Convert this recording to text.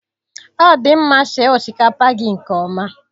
Ọ dị mma sie osikapa gị nke ọma